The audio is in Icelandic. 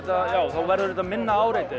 þá verður þetta minna áreiti